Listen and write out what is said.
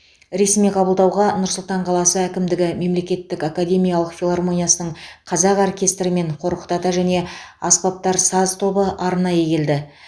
ресми қабылдауға нұр сұлтан қаласы әкімдігі мемлекеттік академиялық филармониясының қазақ оркестрі мен қорқыт ата және аспаптар саз тобы арнайы келді